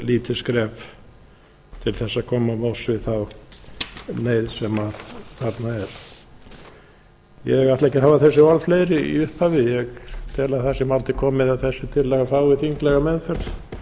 lítið skref til þess að koma til móts við neyð sem þarna er ég ætla ekki að hafa þessi orð fleiri í upphafi ég tel að það sé mál til komið að þessi tillaga fái þinglega meðferð